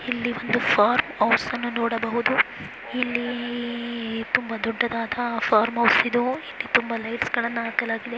ಇಲ್ಲಿ ಒಂದು farm house ಅನ್ನು ನೋಡಬಹುದು ಇಲ್ಲಿ ತುಂಬ ದೊಡ್ಡದಾದ ಫಾರ್ಮ್ ಹೌಸ್ ಇದು ಇಲ್ಲಿ ತುಂಬ ಲೈಟ್ಸ್ಗಳನ್ನ ಹಾಕಲಾಗಿದೆ.